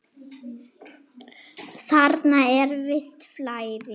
Þarna er visst flæði.